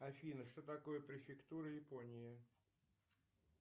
афина что такое префектура японии